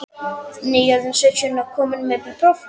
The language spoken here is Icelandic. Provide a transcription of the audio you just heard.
Nýorðinn sautján og kominn með bílpróf.